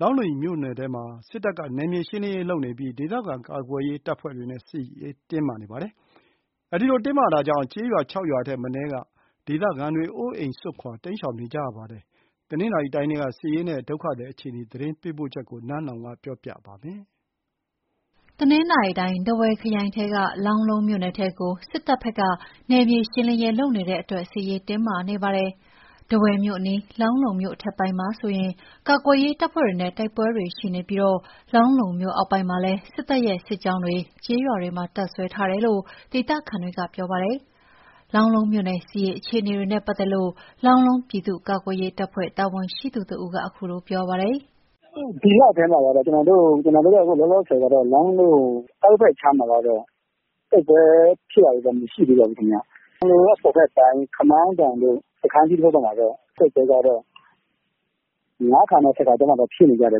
လောင်းလုံးမြို့နယ်ထဲမှာ စစ်တပ်ကနယ်မြေရှင်းလင်းရေးလုပ်နေပြီး ဒေသခံကာကွယ်ရေး တပ်ဖွဲ့တွေနဲ့ စစ်ရေးတင်းမာနေပါတယ်။ စစ်ရေးတင်းမာမှုတွေကြောင့် ကျေးရွာ ၆ ရွာထက်မနည်းက ဒေသခံတွေ အိုးအိမ်စွန့်ခွာတိမ်းရှောင်နေကြရပါတယ်။ တနင်္သာရီတိုင်းထဲက စစ်ရေးနဲ့ ဒုက္ခသည် အခြေအနေ သတင်းပေးပို့ချက်ကို နန်းလောဝ်ပြောပြပါမယ်။ တနင်္သာရီတိုင်း၊ ထားဝယ်ခရိုင်ထဲက လောင်းလုံးမြို့နယ်ထဲကို စစ်တပ်ဖက်က နယ်မြေရှင်းလင်းရေး လုပ်နေတဲ့အတွက် စစ်ရေးတင်းမာနေတာပါ။ ထားဝယ်မြို့အနီး လောင်းလုံးမြို့ အထက်ပိုင်းမှာဆိုရင် ကာကွယ်ရေး တပ်ဖွဲ့တွေနဲ့ တိုက်ပွဲတွေရှိနေပြီး လောင်းလုံးမြို့အောက်ပိုင်းမှာလည်း စစ်တပ်ရဲ့ စစ်ကြောင်း တွေကကျေးရွာတွေမှာ တပ်စွဲထားတယ်လို့ ဒေသခံတွေပြောပါတယ်။ လောင်းလုံးမြို့နယ် စစ်ရေးအခြေ အနေတွေနဲ့ ပတ်သက်လို့ လောင်းလုံးပြည်သူ့ ကာကွယ်ရေးတပ်ဖွဲ့ တာဝန်ရှိသူတဦးက အခုလို ပြောပါတယ်။ “ဒီလထဲမှာတော့ လောလောဆယ်မှာတော့ လောင်းလုံး အောက်ဖက်ခြမ်းမှာတော့ တိုက်ပွဲဖြစ်တာတွေ တော့ မရှိသေးပါဘူးခင်ဗျ။ လောင်းလုံးအပေါ်ဖက်ပိုင်း၊ ခမောင်းတောင် စခန်းကြီးတို့ဖက်မှာတော့ ၅ ခါနဲ့ ၁၀ ခါကြားမှာဖြစ်နေတယ်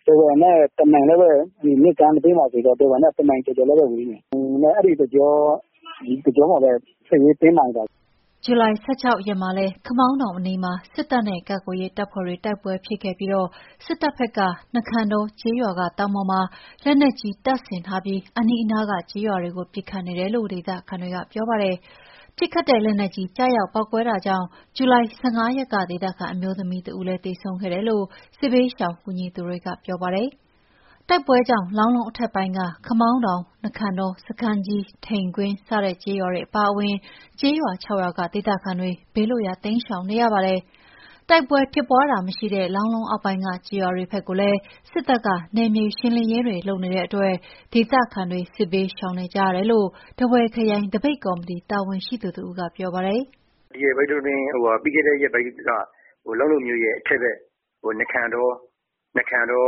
။ ထားဝယ်နဲ့ မြစ်ကမ်းနဘေးမှာဆိုတော့ ထားဝယ်နဲ့ ၁ မိုင်ကျော်ကျော်လောက် ပဲဝေးမယ်။ အဲ့ဒီ့ တကြောမှာပဲ စစ်ရေးတင်းမာနေတာ။” ဇူလိုင် ၁၆ ရက်မှာလည်း ခမောင်းတောင်အနီးမှာ စစ်တပ်နဲ့ကာကွယ်ရေး တပ်ဖွဲ့တွေ တိုက်ပွဲ ဖြစ်ခဲ့ပြီး စစ်တပ်ဖက်က နခံတောကျေးရွာက တောင်ပေါ်မှာလက်နက်ကြီး တပ်ဆင်ထားပြီးအနီးနားက ကျေးရွာ တွေကိုပစ်ခတ်နေတယ်လို့ ဒေသခံတွေပြောပါတယ်။ ပစ်ခတ်တဲ့လက်နက်ကြီး ကျရောက် ပေါက်ကွဲတာ ကြောင့် ဇူလိုင် ၁၅ ရက်ကဒေသခံအမျိုးသမီးတဦးလည်း သေဆုံးခဲ့တယ်လို့ စစ်ဘေးရှောင်ကူညီသူတွေက ပြောပါတယ်။ တိုက်ပွဲကြောင့် လောင်းလုံးအထက်ပိုင်းက ခမောင်းတောင်၊ နခံတော၊ စခန်းကြီး၊ ထိန်တွင်း စတဲ့ကျေးရွာ အပါအဝင်ကျေးရွာ ၆ရွာက ဒေသခံတွေ ဘေးလွတ်ရာတိမ်းရှောင်နေရပါတယ်။ တိုက်ပွဲဖြစ်ပွားတာမရှိတဲ့ လောင်းလုံးအောက်ပိုင်းက ကျေးရွာတွေဖက်ကိုလည်း စစ်တပ်က နယ်မြေရှင်းလင်းရေးတွေ လုပ်နေတဲ့ အတွက် ဒေသခံတွေ စစ်ဘေးရှောင်နေကြရတယ်လို့ ထားဝယ်ခရိုင်သပိတ်ကော်မတီ တာဝန်ရှိသူ တဦးက ပြောပါတယ်။ “နခံတော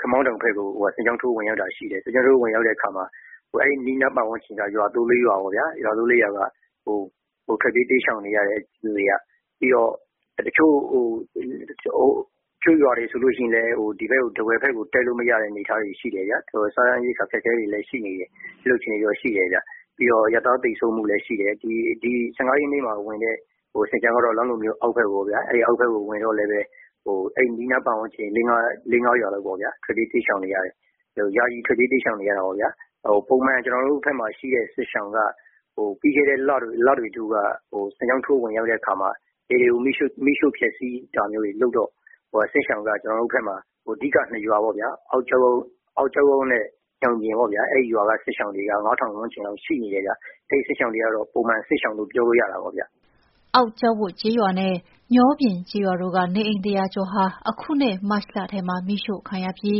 ခမောင်းတောင်ဖက်ကို စစ်ကြောင်းထိုးဝင်ရောက်တာရှိတယ်။ စစ်ကြောင်းထိုး ဝင်ရောက်တဲ့ အခါမှာ အဲ့အနီးနား ပတ်ဝန်းကျင်က ၃/၄ ရွာပေါ့ဗျာ။ အကုန်ထွက်ပြေးတိမ်းရှောင်နေရတယ်။ လူတွေက။ ပြီးတော့ တချို့ရွာတွေဆိုရင်လည်း ထားဝယ်ဘက်ကို တက်လာလို့မရတဲ့ အနေအထားတွေရှိနေတော့ စားနပ်ရိက္ခာအခက်အခဲတွေရှိနေတယ်။ ရွာသားသေဆုံးတာတွေလည်းရှိတယ်။ ၁၅ ရက်နေ့မှာဝင်တဲ့ စစ်ကြောင်းက လောင်းလုံးအောက်ဖက်ပေါ့ဗျာ။ အောက်ဖက်ကိုဝင်တော့လည်း အဲ့အနီးနား ပတ်ဝန်းကျင် ၄/၅ ရွာလောက်က ထွက်ပြေးတိမ်းရှောင်နေရတယ်။ ယာယီထွက်ပြေး တိမ်းရှောင်နေရတာပေါ့ဗျာ။ ပုံမှန် ကျွန်တော်တို့ဖက်မှာရှိတဲ့ စစ်ဘေးရှောင်က ပြီးခဲ့တဲ့လက အိမ်တွေကို မီးရှို့ဖျက်ဆီးတာတွေလုပ်တော့ စစ်ရှောင်က အဓိက ရွာကြီး ၂ ရွာပေါ့ဗျာ။ အောက်ကျောက်ဝပ်ရွာနဲ့ ညောပြင်ပေါ့ဗျာ။ အဲ့ရွာက စစ်ရှောင် တွေက ၅ ထောင်ဝန်းကျင်လောက်ရှိတယ်။ အဲ့စစ်ရှောင်တွေက ပုံမှန် စစ်ရှောင်တွေလို့ ပြောလို့ရတာ ပေါ့ခင်ဗျ။” အောက်ကျောက်ဝပ်ကျေးရွာနဲ့ ညောပြင်ကျေးရွာတို့က နေအိမ် ၁၀၀ ကျော်ဟာ အခုနှစ်မတ်လထဲမှာ မီးရှို့ခံရပြီး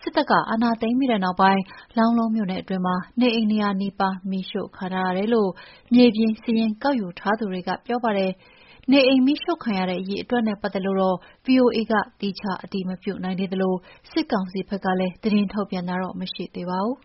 ၊ စစ်တပ်က အာဏာသိမ်းပြီးနောက်ပိုင်း လောင်းလုံးမြို့နယ်အတွင်းမှာ နေအိမ် ၂၀၀ နီးပါး မီးရှို့ခံထားရတယ်လို့ မြေပြင်စာရင်းကောက်ယူထားသူတွေက ပြောပါတယ်။ နေအိမ်မီးရှို့ခံရတဲ့ အရေအတွက်နဲ့ ပတ်သက်လို့ ဗွီအိုအေက သီးခြား အတည်မပြုနိုင်သေးသလို စစ်ကောင်စီဖက်ကလည်း သတင်းထုတ်ပြန်တာမရှိသေးပါဘူး။